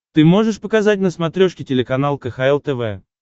ты можешь показать на смотрешке телеканал кхл тв